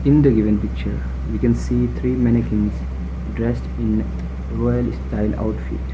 in the given picture we can see three manniqus dressed in royal styled outfit.